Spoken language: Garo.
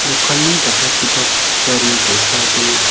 dokani jakrachipak gari ge·sa donga.